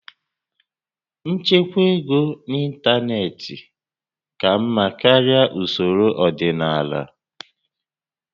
Nchekwa ego n'ịntanetị ka mma karịa usoro ọdịnala